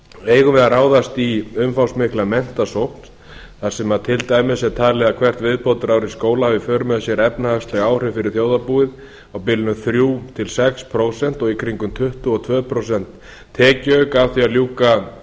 eigum við að ráðast í umfangsmikla menntasókn þar sem til dæmis er talið að hvert viðbótarár í skóla hafi í för með sér efnahagsleg áhrif fyrir þjóðarbúið á bilinu þrjú til sex prósent og í kringum tuttugu og tvö prósent tekjuauka af því að ljúka